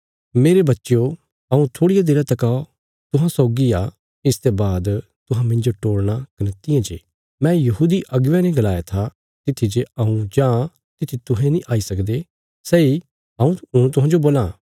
मेरे बच्चयो हऊँ थोड़िया देरा तका जो तुहांजो सौगी आ इसते बाद तुहां मिन्जो टोल़णा कने तियां जे मैं यहूदी अगुवेयां ने गलाया था तित्थी जे हऊँ जां तित्थी तुहें नीं आई सकदे सैई हऊँ हुण तुहांजो बोलां